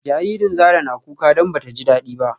Jaririn Zara na kuka don bata ji dadi ba